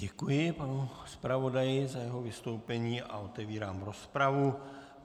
Děkuji panu zpravodaji za jeho vystoupení a otevírám rozpravu.